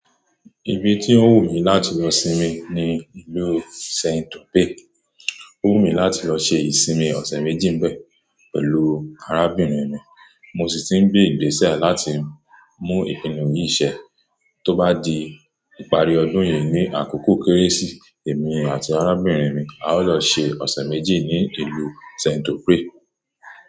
Ibi tí ó wù mí láti lọ sinmi ni ìlú Saint-Omer. Ó wù mí láti lọ ṣe ìsinmi ọ̀sẹ̀ méjì ńbẹ̀ pẹ̀lú arábìnrin mi. Mo sì ti ń gbé ìgbésẹ̀ láti mú ìpinnu yìí ṣẹ. Tó bá di ìparí ọdún yìí ni àkókò kérésì, èmi àti arábìnrin mi á lọ ṣe ọ̀sẹ̀ méjì ní ìlú Saint-Omer.